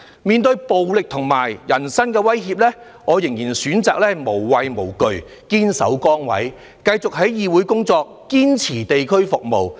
面對暴力和人身威脅，我仍然選擇無畏無懼，堅守崗位，繼續在議會工作，堅持地區服務。